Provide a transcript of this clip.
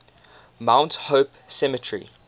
mount hope cemetery